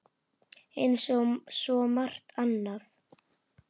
Eins og svo margt annað.